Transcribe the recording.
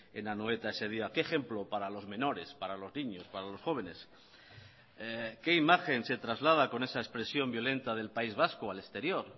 en anoeta ese día qué ejemplo para los menores para los niños para los jóvenes qué imagen se traslada con esa expresión violenta del país vasco al exterior